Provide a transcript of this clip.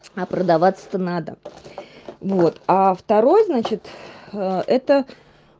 а продаваться-то надо вот а второй значит это